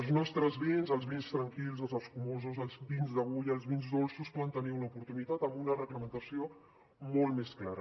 els nostres vins els vins tranquils els escumosos els vins d’agulla els vins dolços poden tenir una oportunitat amb una reglamentació molt més clara